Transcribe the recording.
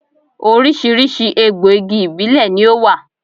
Oríṣiríṣi egbò igi ìbílè ni ó wà